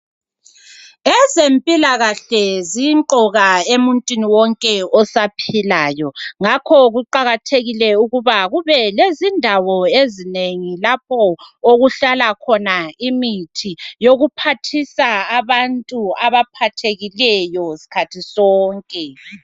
Ezempilakahle zimqoka emuntwini wonke osaphilayo ngakho kuqakathekile ukuba kubelezindawo ezinengi lapho okuhlala khona imithi yokuphathisa abantu abaphathekileyo sikhathi sonke.